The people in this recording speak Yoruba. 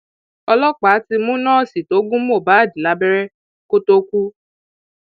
ọlọpàá ti mú nọọsì tó gún mohbad lábẹrẹ kó tóó kú